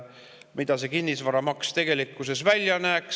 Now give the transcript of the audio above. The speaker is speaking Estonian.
Milline see kinnisvaramaks tegelikkuses välja näeks?